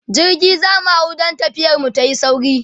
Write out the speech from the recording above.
jirgi zamu hau dan tafiyar mu tayi sauri